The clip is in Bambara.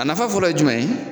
A nafa fɔlɔ ye jumɛn ye